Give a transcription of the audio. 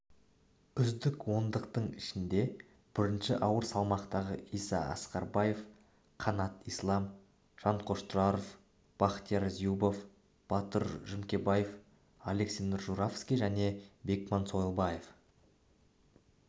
үздік ондықтың ішінде бірінші ауыр салмақтағы иса ақбербаев қанат ислам жанкош тұраров бахтияр эюбов батыр жүкембаев александр журавский және бекман сойлыбаев